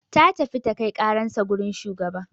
Ta tafi ta kai karansa wajan shugaban